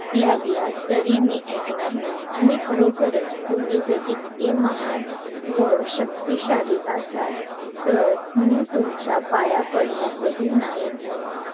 किंवा cancel करून टाका मग bank वाल्यांना allowed नाही तसं cancel करायला बरोबर हाय.